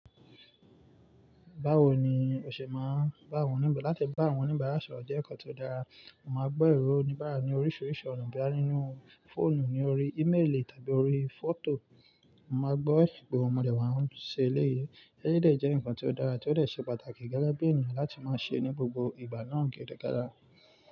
Báwo ni o ṣe máa ń bá àwọn òníbárà? Láti bá àwọn òníbárà sọ̀rọ̀ jẹ́ ǹkan tó dára. Mo máa ń gbọ́ èrò oníbárà ní orísìírísìí ọ̀nà bíi nínú fóònù, ní orí ímélì tàbí orí fọ́tò. Mo máa ń gbọ́ ìgbóhùn ọmọdé máa ń ṣe eléyìí. Eleyii dè jẹ́ ǹkan tó dára tí ó dè ṣe pàtàkì gẹ́gẹ́ bí ènìyàn láti máa ṣe ní gbogbo ìgbà náà gẹ́gẹ́ gára.